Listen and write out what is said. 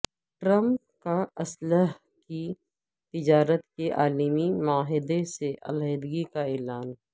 Trump کا اسلحے کی تجارت کے عالمی معاہدے سے علحیدگی کا اعلان